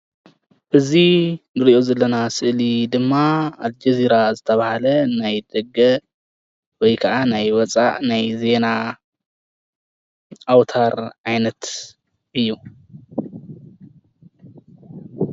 እዚ እንሪኦ ዘለና ስእሊ ድማ ኣልጀዚራ ዝተብሃለ ናይ ደገ ወይ ከዓ ናይ ወፃኢ ናይ ዜና ኣውታር ዓይነት እዩ፡፡